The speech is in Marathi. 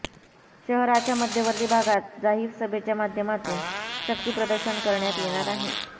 शहराच्या मध्यवर्ती भागात जाहीर सभेच्या माध्यमातून शक्ती प्रदर्शन करण्यात येणार आहे